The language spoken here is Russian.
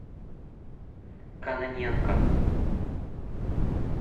кононенко